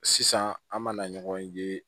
Sisan an b'a na ɲɔgɔnye ye